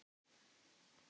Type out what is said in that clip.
Hefur aldrei séð hann áður.